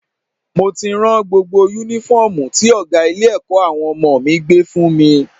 Mo ti rán gbogbo Únífọ́ọ̀mù tí ọ̀gá ilé-ẹ̀kọ́ àwọn ọmọ mi gbé fún mi